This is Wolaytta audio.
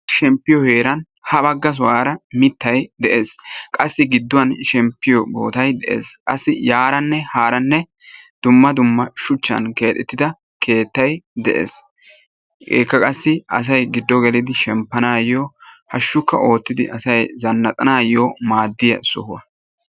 Shemmpiyo heeran ha bagga sohuwara mittay de'ees. Qassi gidduwan shemmppiyo bootay de'ees. Qassi yarane harane dumma dumma shuchchan keexxettida keettay de'ees. Hegeekka qassi asay gido gelidi shemmpanayo hashshukka ottidi asay zannaqanayo maadiya sohuwaa.